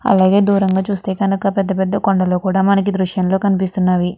అలాగే దూరంగా చూస్తే గనక పెద్ద పెద్ద కొండలు కూడా మనకి ఈ దృశ్యం లో కనిపిస్తునవి.